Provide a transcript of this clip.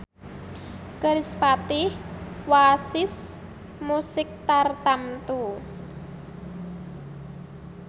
kerispatih wasis musik tartamtu